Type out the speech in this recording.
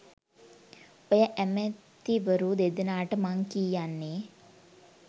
ඔය ඈමෑතිවරු දෙදෙනාට මං කීයන්නෙ